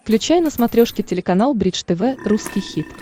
включай на смотрешке телеканал бридж тв русский хит